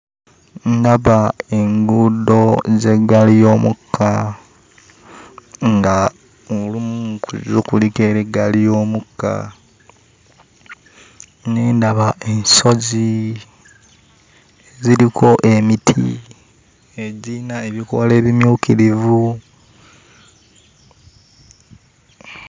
Ndaba enguudo z'eggaali y'omukka ng'olumu ku zo kuliko era eggaali y'omukka. Ne ndaba ensozi eziriko emiti egirina ebikoola ebimyukirivu...